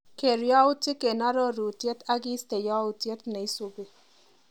Ker yautik eng arorutiet akiiste yautyet neisupi.